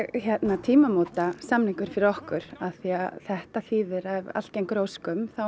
tímamótasamningur fyrir okkur af því að þetta þýðir að ef allt gengur að óskum þá